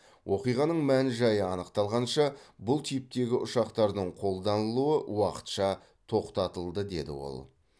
оқиғаның мән жайы анықталғанша бұл типтегі ұшақтардың қолданылуы уақытша тоқтатылды деді ол